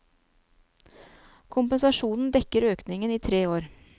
Kompensasjonen dekker økningen i tre år.